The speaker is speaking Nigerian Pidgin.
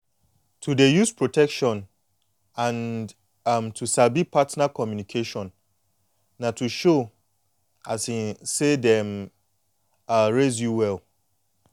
to dey use protection and um to sabi partner communication na to show um say dem um raise you well